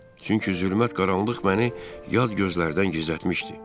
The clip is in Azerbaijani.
Çünki zülmət qaranlıq məni yad gözlərdən gizlətmişdi.